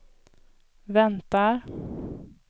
väntar